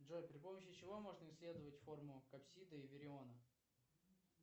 джой при помощи чего можно исследовать форму коксида и мериона